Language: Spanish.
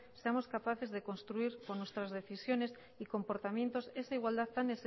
seamos capaces de construir con nuestras decisiones y comportamientos esa igualdad tan